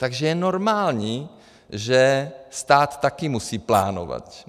Takže je normální, že stát také musí plánovat.